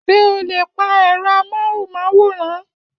Ṣé o lè pa ẹ̀rọ amóhùnmáwòrán?